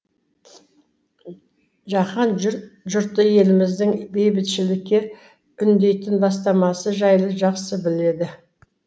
жаһан жұрты еліміздің бейбітшілікке үндейтін бастамасы жайлы жақсы біледі